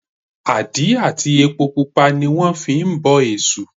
Àdí àti epo pupa ní wọ́n fi ń bọ èṣù